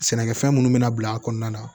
Sɛnɛkɛfɛn munnu bɛna bila a kɔnɔna na